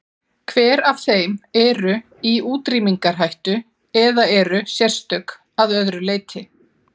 Hver af þeim eru í útrýmingarhættu eða eru sérstök að öðru leyti?